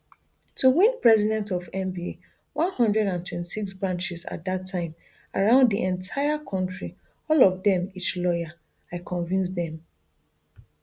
to win president of nba one hundred and twenty-six branches at dat time around di entire kontri all of dem each lawyer i convince dem